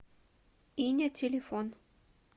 иня телефон